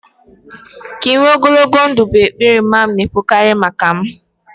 Ka ị nwere ogologo ndụ' bụ ekpere mama m na-ekwukarị maka m